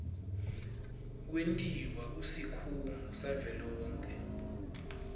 kwentiwa kusikhungo savelonkhe